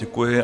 Děkuji.